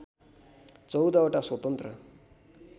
१४ वटा स्वतन्त्र